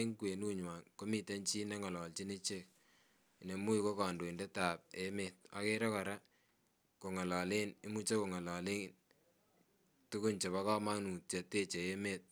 eng kweyunywan komite chii ne ngalichin ichek neimuch ko kadoindet ab emeet , agere koraa kongalelen tuguk chebaa kamangut cheteche emet .